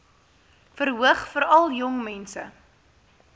verhoog veral jongmense